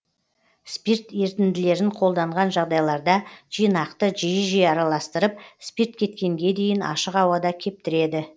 спирт ерітінділерін қолданған жағдайларда жинақты жиі жиі араластырып спирт кеткенге дейін ашық ауада кептіреді